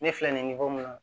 Ne fila nin kɔnɔ